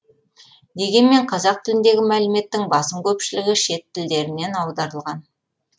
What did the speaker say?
дегенмен қазақ тіліндегі мәліметтің басым көпшілігі шет тілдерінен аударылған